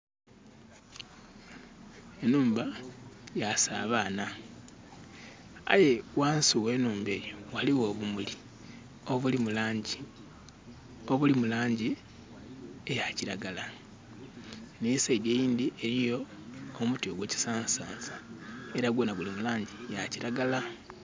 Enhumba ya sabaana aye ghansi ghe nhumba eyo ghaligho obumuli obuli mu langi, obuli mulangi eya kiragala. Nhe saidi eyindhi eriyo omuti gwe kisansa sansa era gwona guli mu langi ya kiragala.